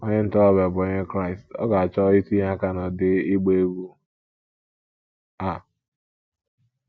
Onye ntorobịa bụ́ Onye Kraịst, ọ̀ ga - achọ itinye aka n’ụdị ịgba egwú a?